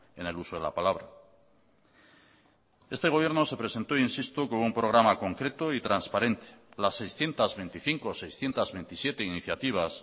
en el uso de la palabra este gobierno se presentó insisto con un programa concreto y transparente las seiscientos veinticinco o seiscientos veintisiete iniciativas